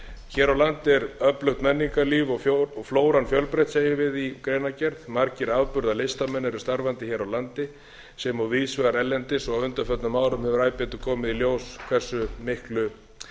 hér er landi er öflugt menningarlíf og flóran fjölbreytt gegnum við í greinargerð margir afburðalistamenn eru starfandi hér á landi sem og víðs vegar erlendis og á undanförnum árum hefur æ betur komið í ljós hversu miklu